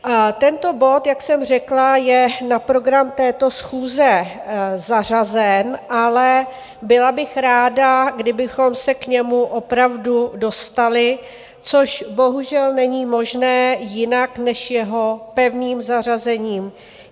Tento bod, jak jsem řekla, je na program této schůze zařazen, ale byla bych ráda, kdybychom se k němu opravdu dostali, což bohužel není možné jinak než jeho pevným zařazením.